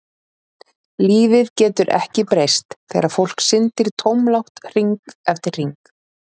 Lífið getur ekki breyst þegar fólk syndir tómlátt hring eftir hring.